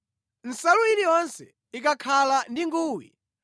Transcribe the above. “Nsalu iliyonse ikakhala ndi nguwi,